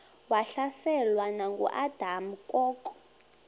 wahlaselwa nanguadam kok